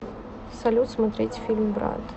салют смотреть фильм брат